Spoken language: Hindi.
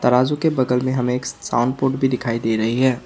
तराजू के बगल में हमें एक साउंड पोर्ट भी दिखाई दे रही है।